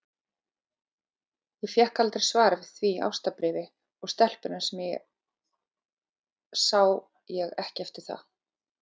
Ég fékk aldrei svar við því ástarbréfi, og stelpuna sá ég ekki eftir það.